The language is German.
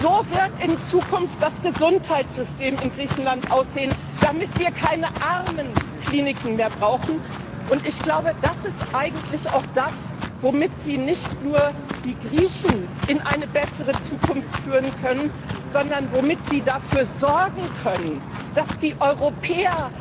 So wird in Zukunft das Gesundheitssystem in Griechenland aussehen, damit wir keine Armen Kliniken mehr brauchen. Ich glaube, das ist eigentlich auch das, womit Sie nicht nur die Griechen in eine bessere Zukunft führen können, sondern womit Sie dafür sorgen können, dass die Europäer